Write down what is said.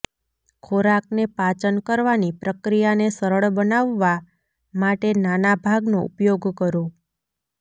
ખોરાકને પાચન કરવાની પ્રક્રિયાને સરળ બનાવવા માટે નાના ભાગનો ઉપયોગ કરો